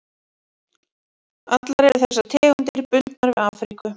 Allar eru þessar tegundir bundnar við Afríku.